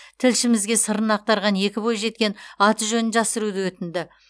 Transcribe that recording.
тілшімізге сырын ақтарған екі бойжеткен аты жөнін жасыруды өтінді